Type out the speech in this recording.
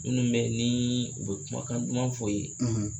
Minnu bɛ ni u bɛ kumakan duman fɔ i ye.